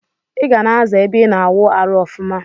Iga na aza ebe ina awụ arụ ọfuma.